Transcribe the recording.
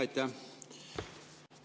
Aitäh!